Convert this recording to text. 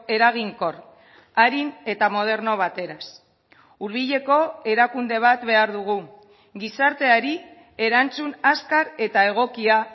eraginkor arin eta moderno bateraz hurbileko erakunde bat behar dugu gizarteari erantzun azkar eta egokia